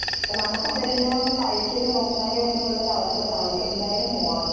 അപ്പൊ നമുക്കതെല്ലാം ഒന്ന് കഴിച്ചൊക്കെ നോക്കാനും ഒക്കെ ഉള്ള ഒരു അവസരം ആവട്ടെ എന്തായാലും പോണം